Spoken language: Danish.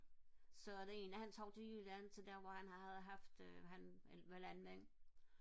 så den ene han tog til jylland til der hvor han havde haft øh han var landmand